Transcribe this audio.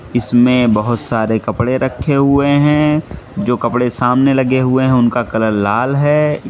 इसमें बहोत सारे कपड़े रखे हुए हैं जो कपड़े सामने लगे हुए हैं उनका कलर लाल है।